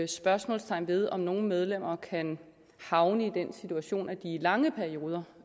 spørgsmålstegn ved om nogle medlemmer kan havne i den situation at de i lange perioder